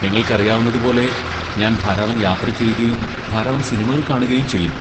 നിങ്ങൾക്കറിയാവുന്നതുപോലെ, ഞാൻ ധാരാളം യാത്രചെയ്യുകയും ധാരാളം സിനിമകൾ കാണുകയും ചെയ്യുന്നു.